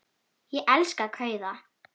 Ég elska kauða.